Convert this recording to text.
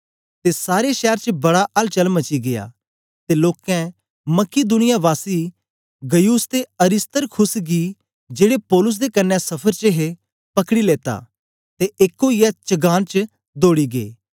ते सारे शैर च बड़ा अलचल मची गीया ते लोकें मकिदुनिया वासी गयुस ते अरिस्तर्खुस गी जेड़े पौलुस दे कन्ने सफर च हे पकड़ी लेता ते एक ओईयै चगान च दौड़ी गै